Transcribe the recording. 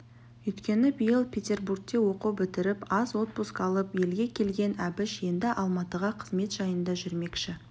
өйткені биыл петербургте оқу бітіріп аз отпуск алып елге келген әбіш енді алматыға қызмет жайында жүрмекші